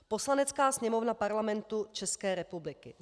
"Poslanecká sněmovna Parlamentu České republiky